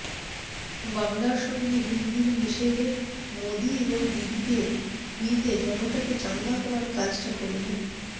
বাংলার সঙ্গে হিন্দির মিশেলে মোদী এবং দিদিকে বিঁধে জনতাকে চাঙ্গা করার কাজটা করলেন